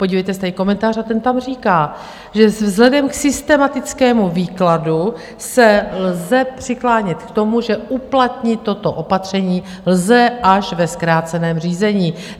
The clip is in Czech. Podívejte se, tady je komentář a ten tam říká, že vzhledem k systematickému výkladu se lze přiklánět k tomu, že uplatnit toto opatření lze až ve zkráceném řízení.